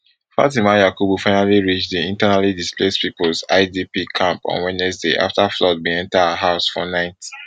fatima yakubu finally reach di internally displaced peoples idp camp on wednesday afta flood bin enta her house for night